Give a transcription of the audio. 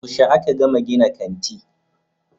Yaushe aka gama gina kanti